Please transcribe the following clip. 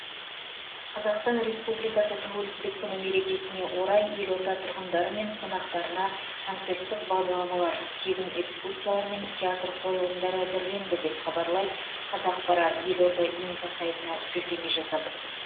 қазақстан республикасы тәуелсіздік күні мерекесіне орай елорда тұрғындары мен қонақтарына концерттік бағдарламалар тегін экскурсиялар мен театр қойылымдары әзірленді деп хабарлайды қазақпара елорда инфо сайтына сілтеме жасап